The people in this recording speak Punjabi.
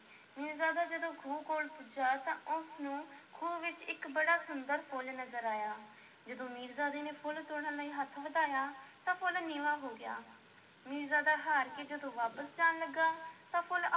ਮੀਰਜ਼ਾਦਾ ਜਦੋਂ ਖੂਹ ਕੋਲ ਪੁੱਜਾ ਤਾਂ ਉਸ ਨੂੰ ਖੂਹ ਵਿੱਚ ਇੱਕ ਬੜਾ ਸੁੰਦਰ ਫੁੱਲ ਨਜ਼ਰ ਆਇਆ, ਜਦੋਂ ਮੀਰਜ਼ਾਦੇ ਨੇ ਫੁੱਲ ਤੋੜਨ ਲਈ ਹੱਥ ਵਧਾਇਆ ਤਾਂ ਫੁੱਲ ਨੀਵਾਂ ਹੋ ਗਿਆ, ਮੀਰਜ਼ਾਦਾ ਹਾਰ ਕੇ ਜਦੋਂ ਵਾਪਸ ਜਾਣ ਲੱਗਾ, ਤਾਂ ਫੁੱਲ